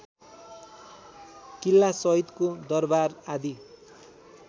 किल्लासहितको दरबार आदि